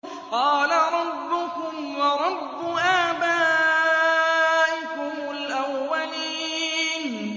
قَالَ رَبُّكُمْ وَرَبُّ آبَائِكُمُ الْأَوَّلِينَ